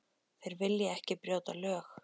Þeir vilja ekki brjóta lög.